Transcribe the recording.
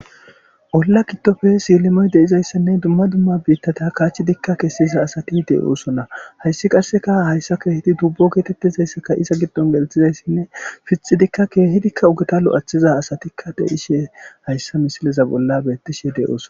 Olla kiddofe siilimoy deizayssanne dumma dumma biittata kaachidikka kessiza asati deyoosona hayssi qasseka hayssa keehidi dubbo geetettizayssaka iza giddon gelthizayssinne fixidikka keehidikka ugeta lo'athiza asatikka deishe hayssa misileza bolla beettishe de'ooson